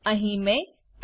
અહી મેં એડ